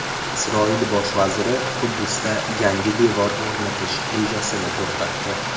Isroil bosh vaziri Quddusda yangi devor o‘rnatish rejasini to‘xtatdi .